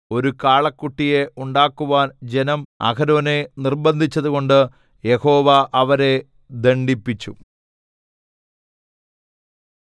ഒരു കാളക്കുട്ടിയെ ഉണ്ടാക്കുവാൻ ജനം അഹരോനെ നിർബന്ധിച്ചതുകൊണ്ട് യഹോവ അവരെ ദണ്ഡിപ്പിച്ചു